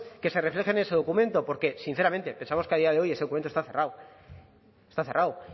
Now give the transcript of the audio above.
que se reflejen en ese documento porque sinceramente pensamos que a día de hoy ese documento está cerrado está cerrado